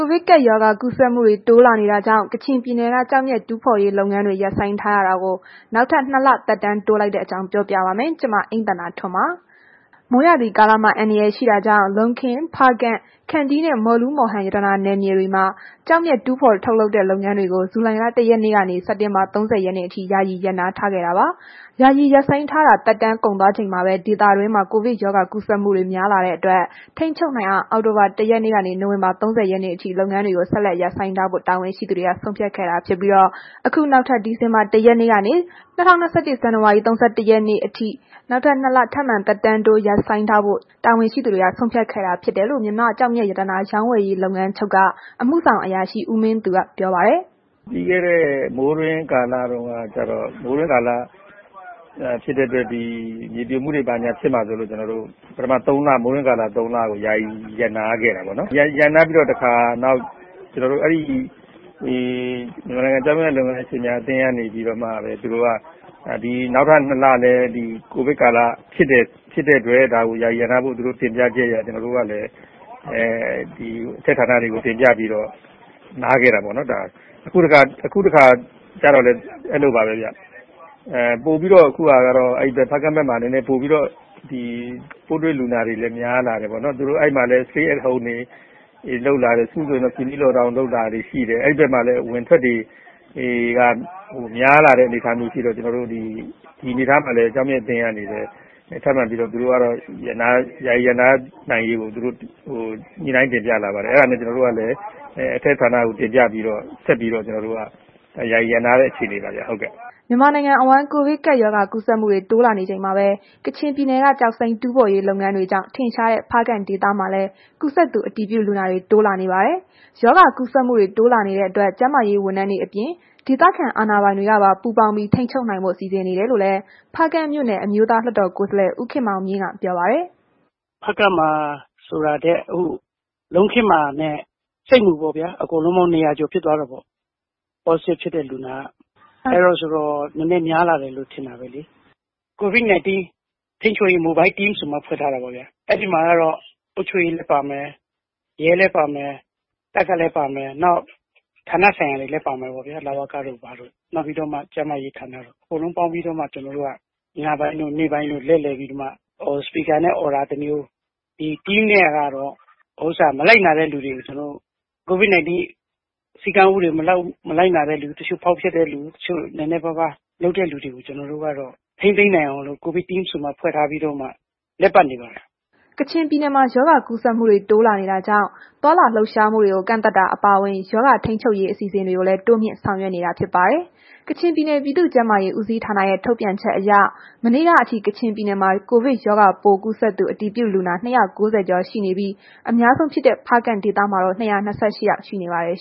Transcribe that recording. ဗစ်ကပ်ရောဂါ ကူးစက်မှုတွေ တိုးလာနေတာကြောင့် ကချင်ပြည်နယ်က ကျောက်မျက်တူးဖော်ရေး လုပ်ငန်းတွေ ရပ်ဆိုင်းထားတာကို နောက်ထပ် ၂ လ သက်တမ်းတိုးလိုက်တဲ့ အကြောင်းပြောပြပါမယ်။ ဗွီအိုအေမြန်မာပိုင်း သတင်းထောက် အိမ့်သန္တာထွန်းက သတင်းပေးပို့ထားပါတယ်။ မိုးရာသီကာလမှာ အန္တရာယ်ရှိတာကြောင့် လုံးခင်း၊ ဖားကန့်၊ ခန္တီးနှင့် မော်လူး-မော်ဟန် ရတနာနယ်မြေတွေမှာ ကျောက်မျက် တူးဖော်ထုတ်လုပ်တဲ့ လုပ်ငန်းတွေကို ဇူလိုင်လ ၁ရက်နေ့ကနေ စက်တင်ဘာလ ၃၀ ရက်နေ့အထိ ယာယီရပ်နားထားခဲ့တာပါ။ ယာယီရပ်ဆိုင်းထားတာ သက်တမ်းကုန်သွားချိန်မှာပဲ ဒေသတွင်းမှာ ကိုဗစ်ရောဂါကူးစက်မှုတွေ ပိုများလာတဲ့အတွက် ထိန်းချုပ်နိုင်အောင် အောက်တိုဘာ ၁ ရက်နေ့ကနေ နိုဝင်ဘာလ ၃၀ ရက်နေ့အထိ လုပ်ငန်းတွေကို ဆက်လက်ရပ်ဆိုင်းထားဖို့ တာဝန်ရှိသူတွေ ဆုံးဖြတ်ခဲ့တာ ဖြစ်ကြောင်း မြန်မာ့ကျောက်မျက်ရတနာ ရောင်းဝယ်ရေးလုပ်ငန်းရုံးချုပ်က အမှုဆောင်အရာရှိ ဦးမင်းသူက ပြောပါတယ်။ “ပြီးခဲ့တဲ့ မိုးတွင်းကာလတုန်းကတော့ မိုးတွင်းကာလဖြစ်တဲ့တွက် မြေပြိုမှုတွေ ဘာညာဖြစ်မှာစိုးလို့ ပထမ မိုးတွင်းကာလ ၃ လ ကို ယာယီရပ်နားခဲ့တာပေါ့နော်။ ယာယီရပ်နားပြီးတော့ နောက်တစ်ခါ ကျောက်မျက်လုပ်ငန်းရှင်များအသင်းကနေပြီးတော့ပဲ နောက်ထပ် ၂ လလည်း ကိုဗစ်ကာလဖြစ်တဲ့ အတွက် ယာယီရပ်နားဖို့ သူတို့တင်ပြချက်အရ ကျနော်တို့ကလည်း အထက်ဌာနတွေကို ကျနော်တို့ တင်ပြပြီးတော့ နားခဲ့တာပေါ့နော်။ အခုတစ်ခါကျတော့လည်း အဲ့ဒီလိုပါပဲဗျ။ အခုဟာကတော့ ပိုပြီး တော့ အဲ့ဒီဖားကန့်ဘက်မှာ ပိုပြီးတော့ ပိုးတွေ့လူနာတွေလည်း များလာတယ်။ Stay at Home တွေ လုပ်လာတယ်။ ပိုပြီးတော့ semi lockdown လုပ်တာတွေလည်း ရှိတယ်။ အဲ့ဒီဘက်မှာ အဝင်အထွက်တွေက များလာတဲ့ အနေအထားမျိုးရှိတော့၊ ဒီအနေအထားမှာ ကျောက်မျက်အသင်းအနေနဲ့ သူတို့ကတော့ ထပ်မံယာယီရပ်နားနိုင်ရေးကို ညှိနှိုင်းတင်ပြလာပါတယ်။ အဲ့ဒါနဲ့ ကျနော်တို့ကလည်း အထက် ဌာနကို တင်ပြပြီးတော့ ထပ်ပြီးတော့ ယာယီရပ်နားတဲ့ အခြေအနေပါဗျ။” မြန်မာနိုင်ငံအဝန်း ကိုဗစ်ကပ်ရောဂါကူးစက်မှုတွေ တိုးလာနေချိန်မှာပဲ ကချင်ပြည်နယ်က ကျောက်စိမ်းတူးဖော်ရေး လုပ်ငန်းတွေကြောင့် ထင်ရှားတဲ့ ဖားကန့်ဒေသမှာလည်း ကူးစက်သူ အတည်ပြုလူနာတွေ တိုးလာနောတပါ။ ရောဂါကူးစက်မှုတွေ တိုးလာနေတဲ့အတွက် ကျန်းမာရေးဝန်ထမ်းတွေအပြင် ဒေသခံအာဏာပိုင်တွေပါ ပူးပေါင်းပြီး ထိန်းချုပ်နိုင်ဖို့ စီစဉ်နေတယ်လို့လည်း ဖားကန့်မြို့နယ် အမျိုးသားလွှတ်တော် ကိုယ်စားလှယ် ဦးခင်မောင်မြင့်က ပြောပါတယ်။ “ဖားကန့်မှာဆိုတာထက် လုံးခင်းမှာနဲ့ ဆိတ်မူပေါ့ဗျာ၊ အကုန်လုံး ၂၀၀ ကျော်ဖြစ်သွားတာပေ့ါ။ Positive ဖြစ်တဲ့လူနာက အဲ့ဒီတော့ နည်းနည်းများလာတယ်လို့ ထင်တာပဲလေ။ COVID-19 ထိန်းချုပ်ရေး Mobile Team ဆိုပြီးတော့ ဖွဲ့ထားတာပေါ့ဗျာ။ အဲ့ဒီမှာကတော့ အုပ်ချုပ်ရေးပါမယ်၊ ရဲလည်းပါမယ်၊ တပ်ကလည်း ပါမယ်နောက် ဌာနဆိုင်ရာတွေလည်းပါမယ်ပေါ့ဗျာ။ လဝကတို့ ဘာတို့ နောက်ပြီးတော့ ကျန်းမာရေးဌာနပေါ့။ အကုန်လုံးပေါင်းပြီးတော့မှ ကျနော်တို့က ညပိုင်းတို့ နေ့ပိုင်းတို့ လှည့်လည်ပြီးတော့ လော်စပီကာနဲ့ အော်တာမျိုး။ Team နဲ့ကတော့ မလိုက်နာတဲ့သူတွေကို COVID 19 စည်းကမ်းဥပဒေမလိုက်နာတဲ့သူ၊ ဖောက်ဖျက်တဲ့သူ၊ တချို့နည်းနည်းပါးပါးလုပ်တဲ့သူတွေကို ကျနော်တို့ကတော့ ထိန်းသိမ်းနိုင်အောင် COVID Team ဆိုပြီးတော့ ဖွဲ့ထားပြီးတော့ လှည့်ပတ်နေပါတယ်။” ကချင်ပြည်နယ်မှာ ရောဂါကူးစက်မှုတွေတိုးလာတာကြောင့် သွားလာလှုပ်ရှားမှုတွေကို ကန့်သတ်တာအပါအဝင် ရောဂါထိန်းချုပ်ရေး အစီအစဉ်တွေကိုလည်း တိုးမြှင့်ဆောင်ရွက်နေတာ ဖြစ်ပါတယ်။ ကချင်ပြည်နယ်ပြည်သူ့ကျန်းမာရေး ဦးစီးဌာနရဲ့ ထုတ်ပြန်ချက်အရ မနေ့တုန်းကအထိ ကချင်ပြည်နယ်မှာ ကိုဗစ်ရောဂါပိုး ကူးစက်သူ အတည်ပြုလူနာ ၂၉၀ ကျော် ရှိနေပြီး အများဆုံးဖြစ်တဲ့ ဖားကန့်ဒေသမှာတော့ ၂၂၈ ယောက်ရှိနေပါတယ်